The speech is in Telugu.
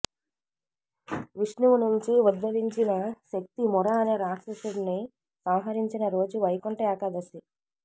విష్ణువునుంచి ఉద్భవించిన శక్తి ముర అనే రాక్షసుడిని సంహరించిన రోజు వైకుంఠ ఏకాదశి